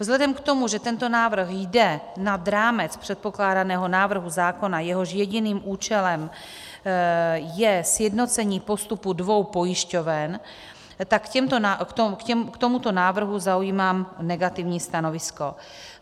Vzhledem k tomu, že tento návrh jde nad rámec předpokládaného návrhu zákona, jehož jediným účelem je sjednocení postupu dvou pojišťoven, tak k tomuto návrhu zaujímám negativní stanovisko.